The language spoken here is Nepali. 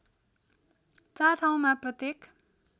४ ठाउँमा प्रत्येक